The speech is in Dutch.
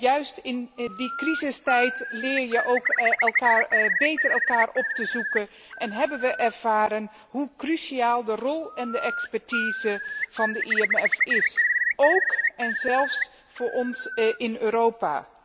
Juist in die crisistijd leer je ook beter elkaar op te zoeken en hebben we ervaren hoe cruciaal de rol en de expertise van het IMF is, ook en zelfs voor ons in Europa.